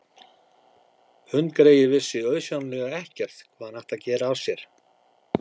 Hundgreyið vissi auðsjáanlega ekkert hvað hann ætti af sér að gera.